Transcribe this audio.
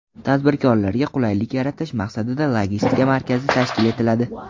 Tadbirkorlarga qulaylik yaratish maqsadida logistika markazi tashkil etiladi.